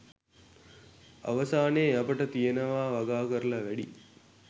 අවසානයේ අපට කියනවා වගා කරලා වැඩියි